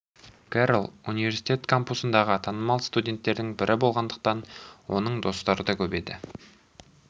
керрол университет кампусында танымал студенттердің бірі болғандықтан оның достары да көп еді